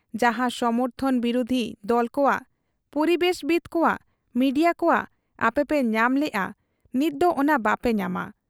ᱡᱟᱦᱟᱸ ᱥᱚᱢᱚᱨᱛᱷᱚᱱ ᱵᱤᱨᱩᱫᱷᱤ ᱫᱚᱞᱠᱚᱣᱟᱜ, ᱯᱚᱨᱤᱵᱮᱥᱵᱤᱛ ᱠᱚᱣᱟᱜ, ᱢᱤᱰᱤᱭᱟ ᱠᱚᱣᱟᱜ ᱟᱯᱮᱯᱮ ᱧᱟᱢ ᱞᱮᱜ ᱟ, ᱱᱤᱛᱫᱚ ᱚᱱᱟ ᱵᱟᱯᱮ ᱧᱟᱢᱟ ᱾